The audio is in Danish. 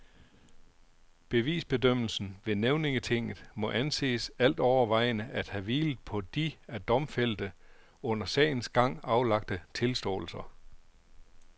Bevisbedømmelsen ved nævningetinget må anses altovervejende at have hvilet på de af domfældte under sagens gang aflagte tilståelser.